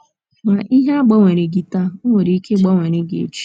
Ma, ihe agbanwereghị gị taa, o nwere ike ịgbanwere gị echi.